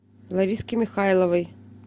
лариски михайловой